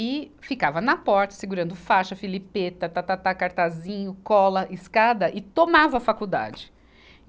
E ficava na porta, segurando faixa, filipeta, tá, tá, tá, cartazinho, cola, escada, e tomava a faculdade.